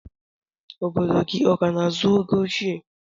Obodo gi ọkana azụ ego oche?